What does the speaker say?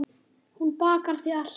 Hann bakar þig alltaf.